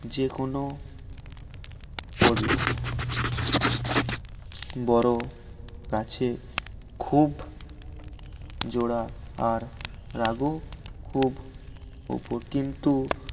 যেকোন পড়লো বড় গাছে খুব জোড়া আর রাগ ও খুব ওপর কিন্তু